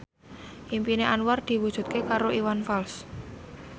impine Anwar diwujudke karo Iwan Fals